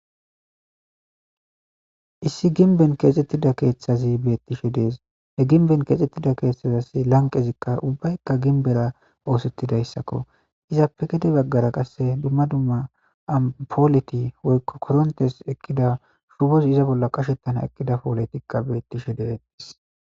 Issi ginben keexxettida keeththazi bettishe dees he ginben keexxettida keeththazasi lanqezikka ubbaykka ginbera oosettidayssakko izappe gede baggara qasse dumma dumma apooleti woykko korontes eqqida shubozi iza bolla qashettana eqqida pooletikka bettishe deettis.